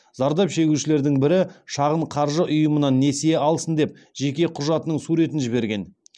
зардап шегушілердің бірі шағын қаржы ұйымынан несие алсын деп жеке құжатының суретін жіберген